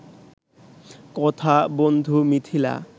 কথা বন্ধু মিথিলা